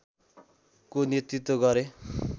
को नेतृत्व गरे